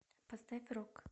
поставь рок